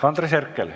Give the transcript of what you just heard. Andres Herkel.